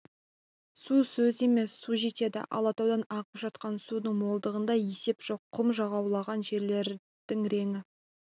су сөз емес су жетеді алатаудан ағып жатқан судың молдығында есеп жоқ құм жаулаған жерлердің реңі